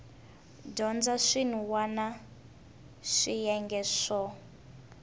dyondza swin wana swiyenge swo